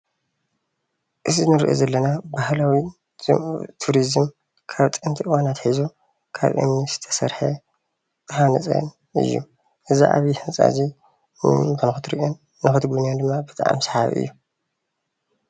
እዚ እንሪኦ ዘለና ባህላዊ ቱሪዝም ካብ ጥንቲ እዋን ኣትሒዙ ካብ እምኒ ዝተሰርሐ ዝተሃነፀ እዩ። እዙ ዓብዩ ህንፃ እዙይ ንኽትርኦን ንኽትጉብንዮን ድማ ብጣዕሚ ሰሓቢ እዩ።